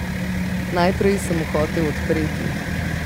Najprej sem mu hotel odpreti.